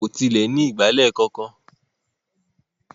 Wọn kò tilẹ̀ ní ìgbálẹ̀ kankan.